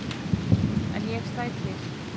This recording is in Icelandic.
En ég slæ til.